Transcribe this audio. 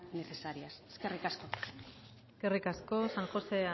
necesarias eskerrik asko eskerrik asko san josé